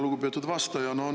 Lugupeetud vastaja!